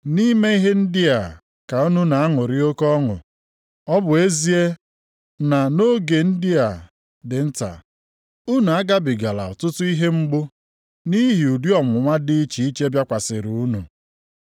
Nʼime ihe ndị a ka unu na-aṅụrị oke ọṅụ, ọ bụ ezie na nʼoge ndị a dị nta, unu agabigala ọtụtụ ihe mgbu nʼihi ụdị ọnwụnwa dị iche iche bịakwasịrị unu.